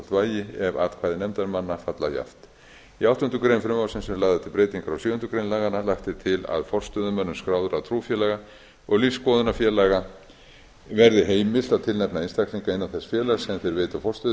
tvöfalt vægi ef atkvæði nefndarmanna falla jafnt í áttundu greinar frumvarpsins eru lagðar til breytingar á sjöundu grein laganna lagt er til að forstöðumönnum skráðra trúfélaga og lífsskoðunarfélaga verði heimilt að tilnefna einstaklinga bann þess félags sem þeir veita forstöðu